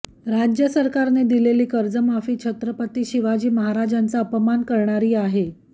राज्य सरकारने दिलेली कर्जमाफी छत्रपती शिवाजी महाराजांचा अपमान करणारी आहे